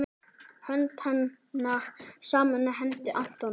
Hönd hennar samofin hendi Antons.